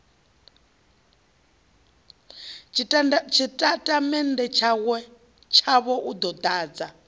tshitatamennde tshavho u ḓo ḓadza